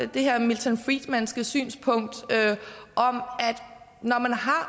det her milton friedmanske synspunkt at når man har